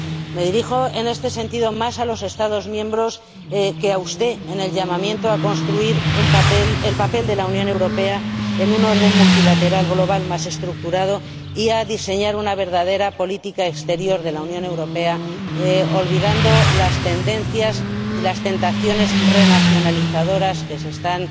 Me dirijo, en este sentido, más a los Estados miembros que a usted, en el llamamiento a construir el papel de la Unión Europea en un orden multilateral global más estructurado y a diseñar una verdadera política exterior de la Unión Europea, olvidando las tendencias y las tentaciones renacionalizadoras que se están